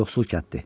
Yoxsul kənddir.